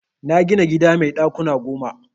Na gina gida mai ɗakuna goma.